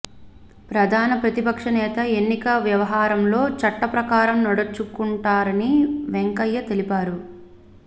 ప్రధాన ప్రతిపక్ష నేత ఎన్నిక వ్యవహారంలో చట్ట ప్రకారం నడుచుకుంటారని వెంకయ్య తెలిపారు